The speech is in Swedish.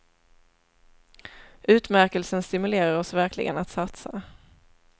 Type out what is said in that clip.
Utmärkelsen stimulerar oss verkligen att satsa.